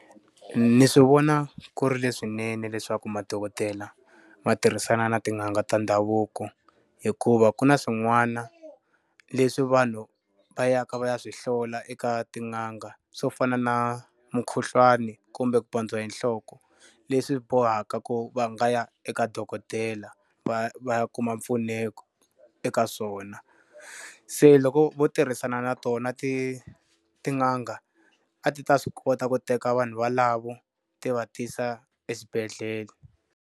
Ni swi vona ku ri leswinene leswaku madokodela ma tirhisana ni tin'anga ta ndhavuko hikuva ku na swin'wana leswi vanhu va ya ka va ya swi hlola eka tin'anga, swo fana na mukhuhlwani kumbe ku pandziwa hi nhloko, leswi bohaka ku va nga ya eka dokodela va ya va kuma mpfuneko eka swona. Se loko vo tirhisana na tona ti tin'anga, a ti ta swi kota ku teka vanhu valavo ti va tisa eswibedhlele.